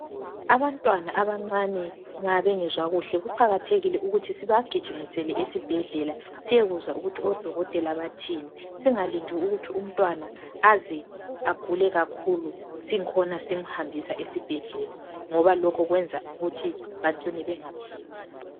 Abantwana abancane nxa bengezwa kuhle kuqakathekile ukuthi sibagijimisele esibhedlela siyekuzwa ukuthi odokotela bathini singalindi ukuthi umntwana aze agule kakhulu singikhona simhambisa esibhedlela ngoba lokhu kwenza ukuthi bacine bengaphephi.